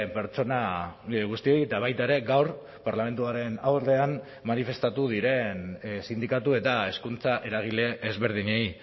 pertsona guztiei eta baita ere gaur parlamentuaren aurrean manifestatu diren sindikatu eta hezkuntza eragile ezberdinei